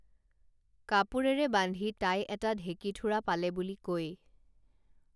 কাপোৰেৰে বান্ধি তাই এটা ঢেঁকীথোৰা পালে বুলি কৈ